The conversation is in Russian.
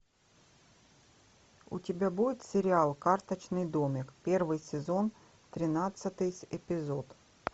у тебя будет сериал карточный домик первый сезон тринадцатый эпизод